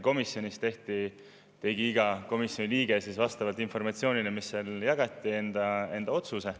Komisjonis tegi iga liige enda otsuse vastavalt informatsioonile, mis seal jagati.